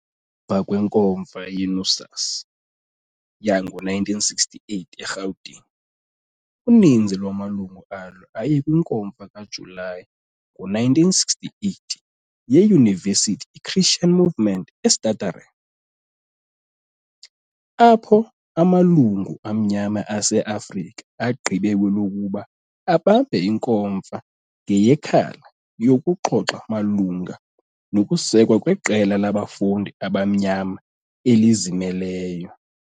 mva kwenkomfa ye-NUSAS yangowe-1968 eRhawutini, uninzi lwamalungu alo aye kwinkomfa kaJulayi ngo-1968 yeYunivesithi iChristian Movement eStutterheim. Apho, amalungu amnyama ase-Afrika agqibe kwelokuba abambe inkomfa ngeyeKhala yokuxoxa malunga nokusekwa kweqela labafundi abamnyama elizimeleyo.